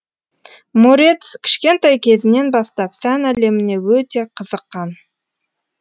морец кішкентай кезінен бастап сән әлеміне өте қызықан